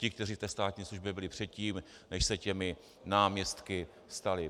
Ti, kteří v té státní službě byli předtím, než se těmi náměstci stali.